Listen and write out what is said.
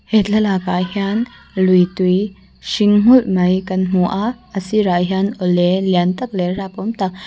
thlalak ah hian lui tui hring nghulh mai kan hmu a a sirah hian awle lian tak leh rapawm tak--